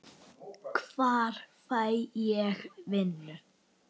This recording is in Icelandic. Hvar fæ ég vinnu?